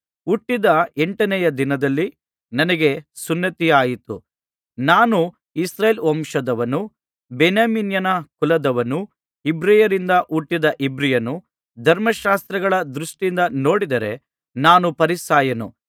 ಹುಟ್ಟಿದ ಎಂಟನೆಯ ದಿನದಲ್ಲಿ ನನಗೆ ಸುನ್ನತಿಯಾಯಿತು ನಾನು ಇಸ್ರಾಯೇಲ್ ವಂಶದವನು ಬೆನ್ಯಾಮೀನನ ಕುಲದವನು ಇಬ್ರಿಯರಿಂದ ಹುಟ್ಟಿದ ಇಬ್ರಿಯನು ಧರ್ಮಶಾಸ್ತ್ರಗಳ ದೃಷ್ಟಿಯಿಂದ ನೋಡಿದರೆ ನಾನು ಫರಿಸಾಯನು